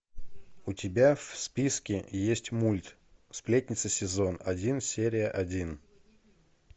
у тебя в списке есть мульт сплетница сезон один серия один